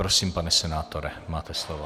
Prosím, pane senátore, máte slovo.